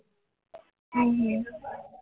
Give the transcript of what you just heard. હમ